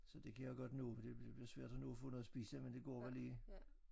Så det kan jeg godt nå for det det bliver svært at nå at få noget at spise men det går lige